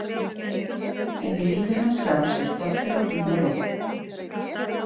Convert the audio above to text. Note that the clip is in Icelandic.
En í lífi hans sjálfs er dottið á dúnalogn.